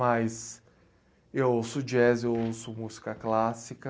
Mas eu ouço jazz, eu ouço música clássica,